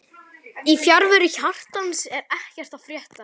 Í fjarveru hjartans er ekkert að frétta